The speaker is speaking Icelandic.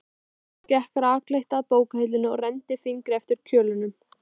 Lóa gekk rakleitt að bókahillunni og renndi fingri eftir kjölunum.